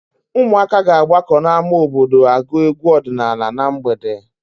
Ụmụaka ga-agbakọ n'ámá obodo agụ egwu ọdịnaala na mgbede.